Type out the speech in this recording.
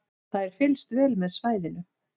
Það er fylgst vel með svæðinu